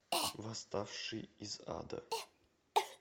восставший из ада